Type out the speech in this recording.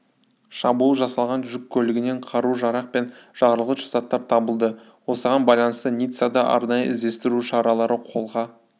шабуыл жасалған жүк көлігінен қару-жарақ пен жарылғыш заттар табылды осыған байланысты ниццада арнайы іздестіру шаралары қолға